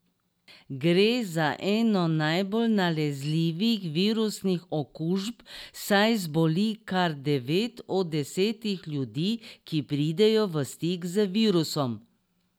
Gre za eno najbolj nalezljivih virusnih okužb, saj zboli kar devet od desetih ljudi, ki pridejo v stik z virusom.